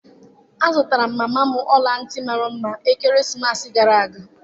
Azụtara m mama m ọla ntị mara mma ekeresimesi gara aga